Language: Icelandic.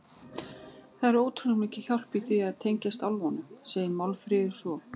Það er ótrúlega mikil hjálp í því að tengjast álfunum, segir Málfríður svo.